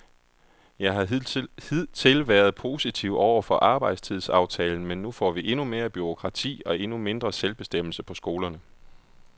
Jeg har hidtil været positiv over for arbejdstidsaftalen, men nu får vi endnu mere bureaukrati og endnu mindre selvbestemmelse på skolerne.